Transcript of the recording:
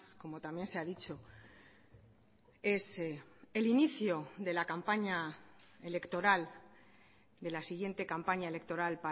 como también se ha dicho es el inicio de la campaña electoral de la siguiente campaña electoral